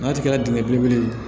N'a kɛra dingɛn belebele ye